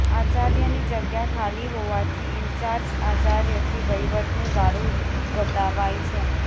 આચાર્યની જગ્યા ખાલી હોવાથી ઈન્ચાર્જ આચાર્યથી વહીવટનું ગાડુ ગબડાવાય છે